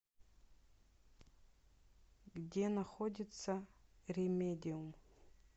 где находится ремедиум